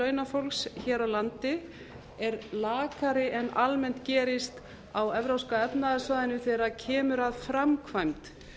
launafólks hér á landi er lakari en almennt gerist á evrópska efnahagssvæðinu þegar kemur að framkvæmd